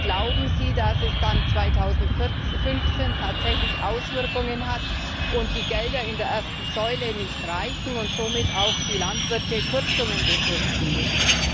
Glauben Sie, dass es dann 2015 tatsächlich Auswirkungen hat und die Gelder in der ersten Säule nicht reichen und somit auch die Landwirte Kürzungen befürchten müssen?